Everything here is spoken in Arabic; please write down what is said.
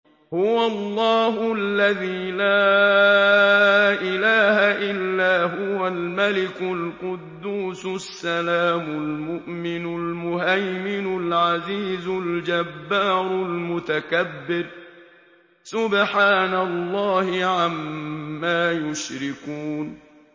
هُوَ اللَّهُ الَّذِي لَا إِلَٰهَ إِلَّا هُوَ الْمَلِكُ الْقُدُّوسُ السَّلَامُ الْمُؤْمِنُ الْمُهَيْمِنُ الْعَزِيزُ الْجَبَّارُ الْمُتَكَبِّرُ ۚ سُبْحَانَ اللَّهِ عَمَّا يُشْرِكُونَ